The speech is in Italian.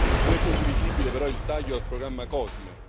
Non è condivisibile, però, il taglio al programma COSME.